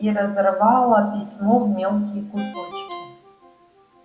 и разорвала письмо в мелкие кусочки